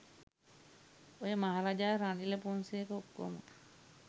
ඔය මහරජා රනිල පොන්සේක ඔක්කොම